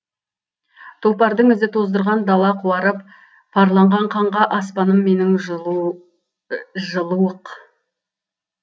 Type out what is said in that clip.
тұлпардың ізі тоздырған дала қуарып парланған қанға аспаным менің жылыуық